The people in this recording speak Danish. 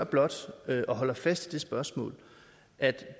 blot og holder fast i det spørgsmål at